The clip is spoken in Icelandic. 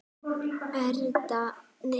Erla Björk.